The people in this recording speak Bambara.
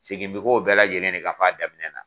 Segin bɛ k'o bɛɛ lajɛlen de kan f'a daminɛ na